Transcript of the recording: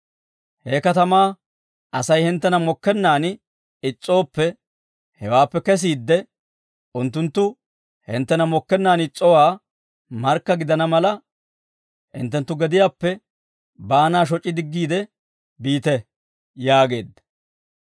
He katamaa Asay hinttena mokkennaan is's'ooppe, hewaappe kesiidde, unttunttu hinttena mokkennaan is's'owoo markka gidana mala, hinttenttu gediyaappe baanaa shoc'i diggiide biite» yaageedda.